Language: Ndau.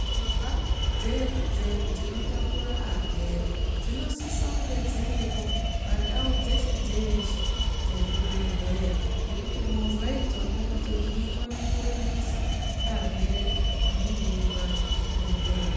Movha dzino takura varwere dzinosise kunge dziripo pandau dzese dzeshe dzezvibhedhleya ngekuti movha idzoni ndidzo dzinokone kurumbisa arwere anenge eirwara kuchibhedhleya.